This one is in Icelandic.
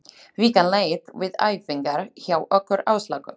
Vikan leið við æfingar hjá okkur Áslaugu.